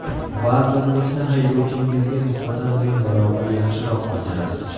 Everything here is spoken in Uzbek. Vazirlikni haydovchingizga nisbatan ming barobar yaxshiroq bajarasiz.